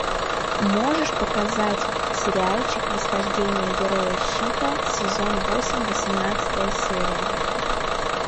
можешь показать сериальчик восхождение героя щита сезон восемь восемнадцатая серия